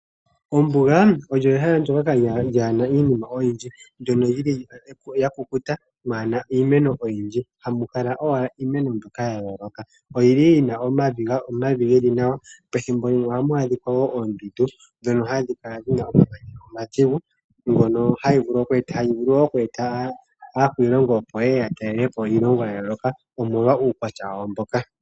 Ombuga olyo ehala ndyoka lyaa na iinima oyindji mono mwa kukuta mwaa na iimeno oyindji. Ohamu kala owala iimeno mbyoka ya yooloka. Oyi na omavi ge li nawa, pethimbo limwe ohamu adhika woo oondundu ndhono hadhi kala dhi na omamanya omadhigu hayi vulu oku eta aakwiilongo opo ye ye ya talele po iilongo ya yooloka, omolwa uukwatya wawo mboka.